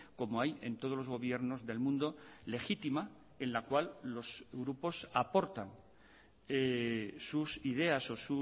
como hay en todos los gobiernos del mundo legítima en la cual los grupos aportan sus ideas o